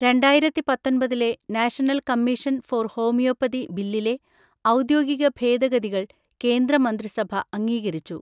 രണ്ടായിരത്തി പത്തൊന്‍പതിലെ national commission for homeopathy ബില്ലിലെ ഔദ്യോഗിക ഭേദഗതികൾ കേന്ദ്ര മന്ത്രിസഭ അംഗീകരിച്ചു